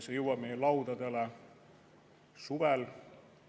See jõuab meie laudadele suvel.